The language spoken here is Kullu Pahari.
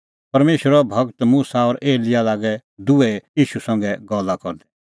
परमेशरो गूर मुसा और एलियाह लागै दुहै ईशू संघै गल्ला करदै